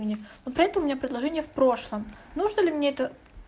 вот поэтому у меня предложение в прошлом нужно ли мне это